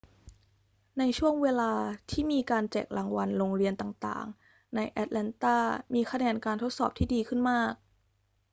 ณ ช่วงเวลาที่มีการแจกรางวัล โรงเรียนต่าง ๆ ในแอตแลนตามีคะแนนการทดสอบที่ดีขึ้นมาก